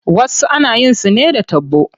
Wasu ana yin su ne da taɓo.